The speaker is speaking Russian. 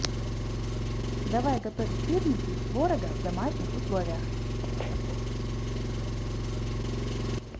давай готовить сырники из творога в домашних условиях